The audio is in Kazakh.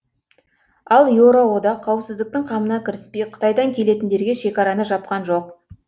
ал еуроодақ қауіпсіздіктің қамына кіріспей қытайдан келетіндерге шекараны жапқан жоқ